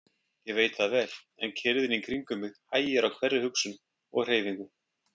Ég veit það vel, en kyrrðin í kringum mig hægir á hverri hugsun og hreyfingu.